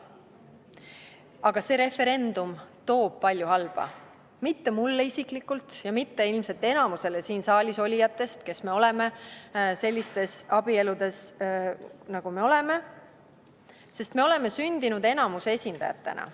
Aga see referendum toob kaasa palju halba, mitte mulle isiklikult ja mitte ilmselt enamikule siin saalis olijatest, kes me oleme sellistes abieludes, nagu me oleme, sest me oleme sündinud enamuse esindajatena.